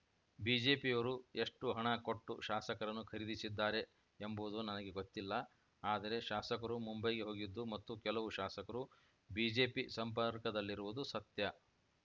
ಬಿಜೆಪಿಯವರು ಎಷ್ಟುಹಣ ಕೊಟ್ಟು ಶಾಸಕರನ್ನು ಖರೀದಿಸಿದ್ದಾರೆ ಎಂಬುವುದು ನನಗೆ ಗೊತ್ತಿಲ್ಲ ಆದರೆ ಶಾಸಕರು ಮುಂಬೈಗೆ ಹೋಗಿದ್ದು ಮತ್ತು ಕೆಲವು ಶಾಸಕರು ಬಿಜೆಪಿ ಸಂಪರ್ಕದಲ್ಲಿರುವುದು ಸತ್ಯ